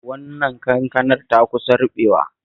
Wannan kankanar ta kusa ruɓewa